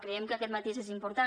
creiem que aquest matís és important